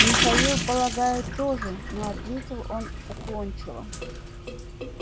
михаил полагаю тоже но ответил он уклончиво